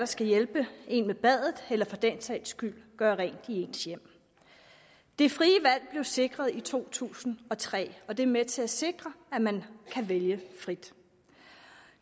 skal hjælpe en med badet eller for den sags skyld gøre rent i ens hjem det frie valg blev sikret i to tusind og tre og det er med til at sikre at man kan vælge frit